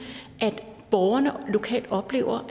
at borgerne lokalt oplever